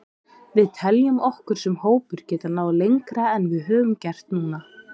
Við teljum okkur sem hópur geta náð lengra en við höfum gert núna.